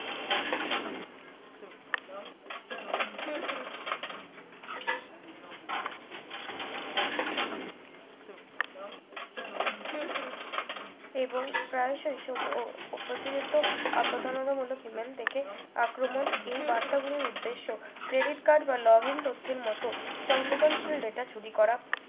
এবং প্রয়াশই প্রতিরতার আপতারণামূলক email দেখে আক্রমণ এই বার্তাগুলি উদ্দেশ্য credit card বা login তথ্যের মত সংবেদনশীল চুরি করা